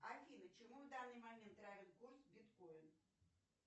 афина чему в данный момент равен курс биткоин